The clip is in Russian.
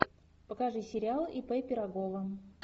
покажи сериал ип пирогова